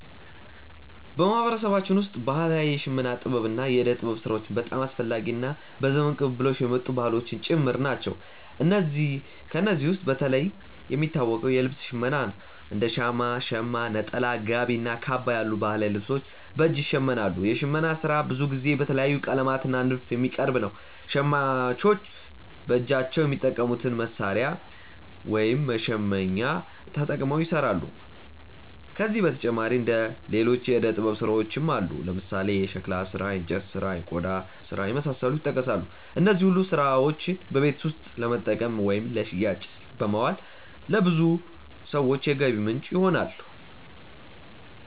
በማህበረሰባችን ውስጥ ባህላዊ የሽመና ጥበብ እና የእደ ጥበብ ስራዎች በጣም አስፈላጊ እና በዘመን ቅብብሎሽ የመጡ ባህሎችም ጭምር ናቸው። ከእነዚህ ውስጥ በተለይ የሚታወቀው የልብስ ሽመና ነው፤ እንደ ሻማ (ሸማ)፣ ነጠላ፣ ጋቢ እና ካባ ያሉ ባህላዊ ልብሶች በእጅ ይሸመናሉ። የሽመና ስራ ብዙ ጊዜ በተለያዩ ቀለማት እና ንድፎች የሚቀርብ ነው። ሸማኞች በእጃቸው በሚጠቀሙት መሣሪያ (መሸመኛ)ተጠቅመው ይሰራሉ። ከዚህ በተጨማሪ ሌሎች የእደ ጥበብ ስራዎችም አሉ፦ ለምሳሌ የሸክላ ስራ፣ የእንጨት ስራ፣ እና የቆዳ ስራ የመሳሰሉት ይጠቀሳሉ። እነዚህ ሁሉ ስራዎች በቤት ውስጥ ለመጠቀም ወይም ለሽያጭ በማዋል ለብዙ ሰዎች የገቢ ምንጭ ይሆናሉ።